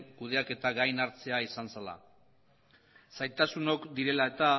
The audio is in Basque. kudeaketa gain hartzea izan zela zailtasunok direla eta